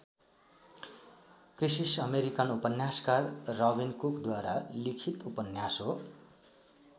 Crisis American उपन्यासकार Robin कुकद्वारा लिखित उपन्यास हो।